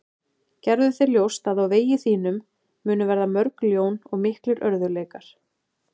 Gerðu þér ljóst að á vegi þínum munu verða mörg ljón og miklir örðugleikar.